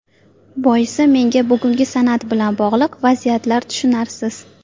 Boisi menga bugungi san’at bilan bog‘liq vaziyatlar tushunarsiz.